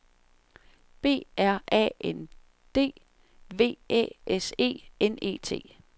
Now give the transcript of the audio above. B R A N D V Æ S E N E T